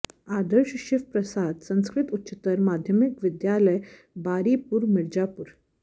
Adarsh Shiv Prasad Sanskrit Uchchatar Madhyamik Vidyalaya Baripur Mirzapur